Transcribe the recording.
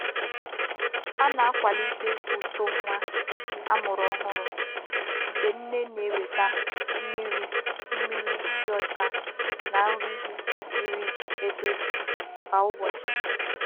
A na-akwalite uto nwa amụrụ ọhụrụ mgbe nne na-enweta mmiri mmiri dị ọcha na nri kwesịrị ekwesị kwa ụbọchị